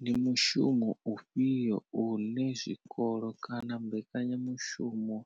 Ndi mushumo ufhio une zwikolo kana mbekanyamushumo